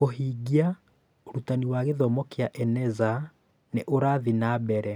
Kũhingia: Ũrutani wa gĩthomo kĩa Eneza nĩ ũrathiĩ na Mbere